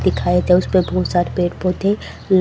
दिखाए थे उसपे बहुत सारे पेड़ पौधे ल --